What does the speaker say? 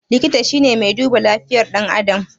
Likita shine mai duba lafiyar ɗan adam